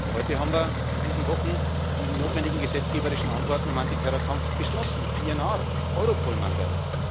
Heute haben wir in diesen Wochen die notwendigen gesetzgeberischen Antworten im Antiterrorkampf beschlossen PNR, Europol Mandat.